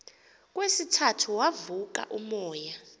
kwesithathu wavuka umoya